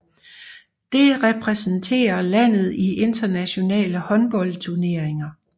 Det repræsenterer landet i internationale håndboldturneringer